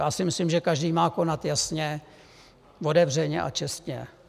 Já si myslím, že každý má konat jasně, otevřeně a čestně.